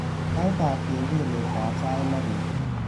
Saitab kengeletab sait loo beet